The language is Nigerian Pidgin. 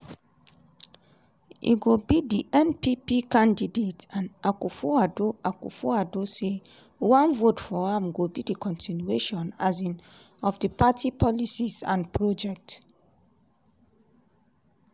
e go be di npp candidate and akufo-addo akufo-addo say one vote for am go be di continuation um of di party policies and projects.